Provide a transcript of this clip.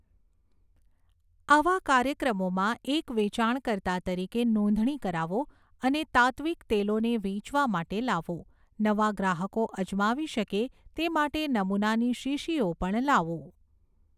આવા કાર્યક્રમોમાં એક વેચાણકર્તા તરીકે નોંધણી કરાવો અને તાત્ત્વિક તેલોને વેચવા માટે લાવો, નવા ગ્રાહકો અજમાવી શકે તે માટે નમૂનાની શીશીઓ પણ લાવો.